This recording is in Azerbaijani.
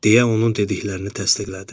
Deyə onun dediklərini təsdiqlədim.